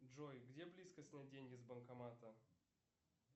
джой где близко снять деньги с банкомата